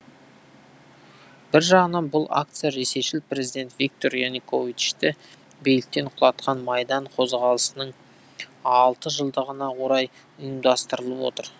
бір жағынан бұл акция ресейшіл президент виктор януковичті биліктен құлатқан майдан қозғалысының алты жылдығына орай ұйымдастырылып отыр